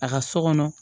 A ka so kɔnɔ